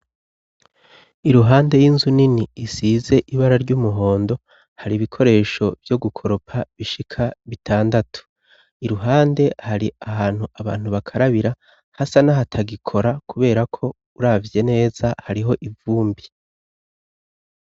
Iruhande y'inzu nini isize ibara ry'umuhondo hari ibikoresho vyo gukoropa bishika bitandatu iruhande hari ahantu abantu bakarabira hasa n'ahatagikora kubera ko uravye neza hariho ivumbi.